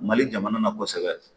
Mali jamana na kosɛbɛ